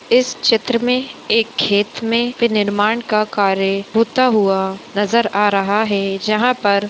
इस चित्र में एक खेत में निर्माण का कार्य होता हुआ हेय नजर आ रहा है जहां पर --